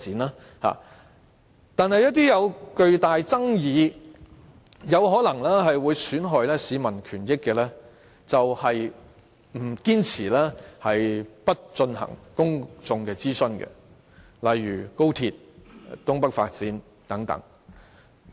但是，對於一些有巨大爭議、可能損害市民權益的事情，政府卻堅持不進行公眾諮詢，例如高鐵、東北發展等。